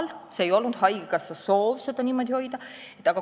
Haigekassal ei olnud soovi seda nii madalal hoida.